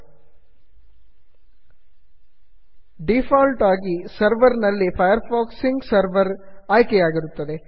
default ಆಗಿ server server ನಲ್ಲಿ Firefox sync server Firefox sync server ಆಯ್ಕೆಯಾಗಿರುತ್ತದೆ